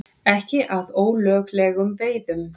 Ekki að ólöglegum veiðum